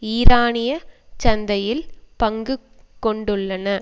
ஈரானியச் சந்தையில் பங்கு கொண்டுள்ளன